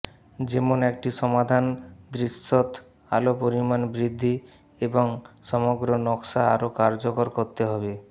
যেমন একটি সমাধান দৃশ্যত আলো পরিমাণ বৃদ্ধি এবং সমগ্র নকশা আরো কার্যকর করতে হবে